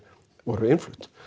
voru innflutt